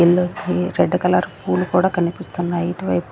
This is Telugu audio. ఇళ్లు కి రెడ్ కలర్ పూలు కూడా కనిపిస్తున్నాయి ఇటు వైపు.